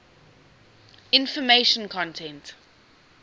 information content